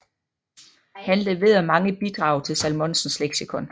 Han leverede mange bidrag til Salmonsens Leksikon